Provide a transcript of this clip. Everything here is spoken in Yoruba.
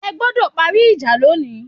Ẹ gbọ́dọ̀ parí ìjà lónìí